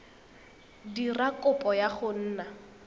dira kopo ya go nna